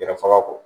Yɛrɛ faga kɔ